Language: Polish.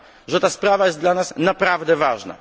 że ta sprawa jest dla nas naprawdę ważna.